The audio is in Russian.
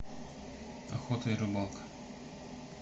охота и рыбалка